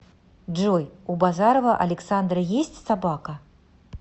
джой у базарова александра есть собака